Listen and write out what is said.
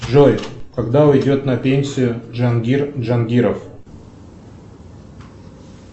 джой когда уйдет на пенсию джангир джангиров